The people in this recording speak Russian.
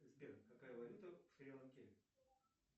сбер какая валюта в шри ланке